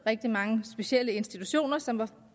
rigtig mange specielle institutioner som